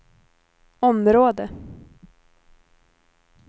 område